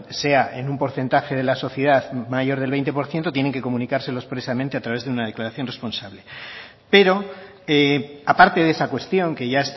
sea en un porcentaje de la sociedad mayor del veinte por ciento tienen que comunicárselo expresamente a través de una declaración responsable pero aparte de esa cuestión que ya